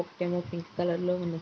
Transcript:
ఒకటేమో pink colour లో ఉంది.